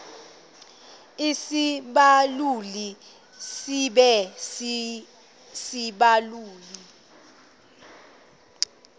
isibaluli sibe sisibaluli